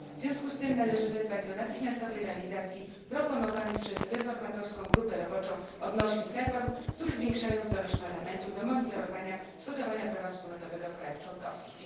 W związku z tym należy wezwać do natychmiastowej realizacji proponowanych przez reformatorską grupę roboczą odnośnych reform, które zwiększają zdolność Parlamentu do monitorowania stosowania prawa wspólnotowego w krajach członkowskich.